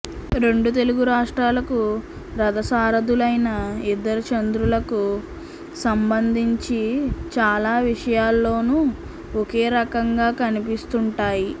రెండు తెలుగు రాష్ట్రాలకు రథసారధులైన ఇద్దరు చంద్రుళ్లకు సంబంధించి చాలా విషయాల్లోనూ ఒకేరకంగా కనిపిస్తుంటాయి